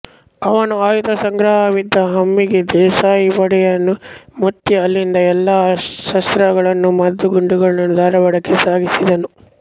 ಅವನು ಆಯುಧ ಸಂಗ್ರಹವಿದ್ದ ಹಮ್ಮಿಗೆ ದೇಸಾಯಿವಾಡೆಯನ್ನು ಮುತ್ತಿ ಅಲ್ಲಿದ್ದ ಎಲ್ಲ ಅಸ್ತ್ರಗಳನ್ನೂ ಮದ್ದು ಗುಂಡುಗಳನ್ನೂ ಧಾರವಾಡಕ್ಕೆ ಸಾಗಿಸಿದನು